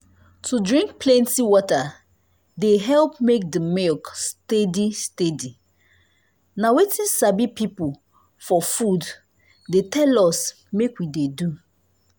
to drink plenty water dey help make the milk steady steady. na wetin sabi people for food dey tell us make we de do.